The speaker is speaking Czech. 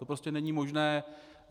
To prostě není možné.